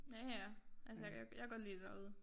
Ja ja altså jeg kan godt lide det derude